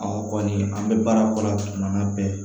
kɔni an bɛ baara kɔnɔ tuma na